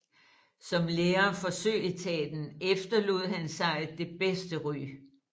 Som lærer for Søetaten efterlod han sig det bedste ry